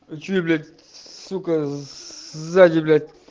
а что блять сука сзади блять